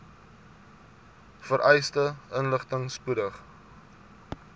vereiste inligting spoedig